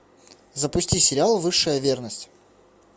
запусти сериал высшая верность